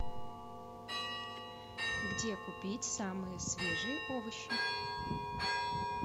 где купить самые свежие овощи